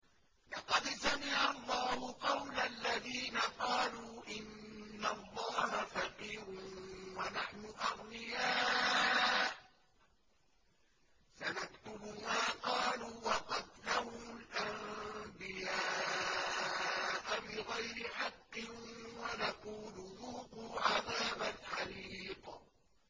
لَّقَدْ سَمِعَ اللَّهُ قَوْلَ الَّذِينَ قَالُوا إِنَّ اللَّهَ فَقِيرٌ وَنَحْنُ أَغْنِيَاءُ ۘ سَنَكْتُبُ مَا قَالُوا وَقَتْلَهُمُ الْأَنبِيَاءَ بِغَيْرِ حَقٍّ وَنَقُولُ ذُوقُوا عَذَابَ الْحَرِيقِ